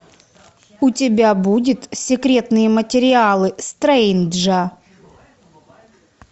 у тебя будет секретные материалы стрейнджа